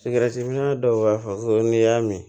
Sigɛritiminɛ dɔw b'a fɔ ko n'i y'a min